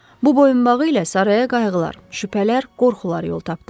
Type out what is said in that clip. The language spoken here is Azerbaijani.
Bu boyunbağı ilə saraya qayğılar, şübhələr, qorxular yol tapdı.